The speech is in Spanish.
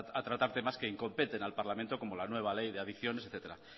a tratar temas que incompeten al parlamento como la nueva ley de adicciones etcétera